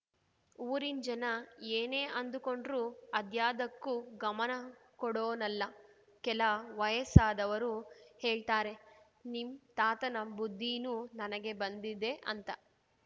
ಊರಿನ್‌ ಜನ ಏನೇ ಅಂದುಕೊಂಡ್ರು ಅದ್ಯಾದಕ್ಕೂ ಗಮನ ಕೊಡೋನಲ್ಲ ಕೆಲ ವಯಸ್ಸಾದವರು ಹೇಳ್ತಾರೆ ನಿಮ್‌ ತಾತನ ಬುದ್ಧಿನೂ ನನಗೆ ಬಂದಿದೆ ಅಂತ